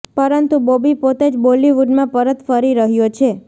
પરંતુ બોબી પોતે જ બોલિવૂડમાં પરત ફરી રહ્યો છે